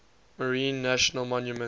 marine national monument